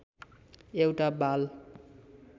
एउटा बाल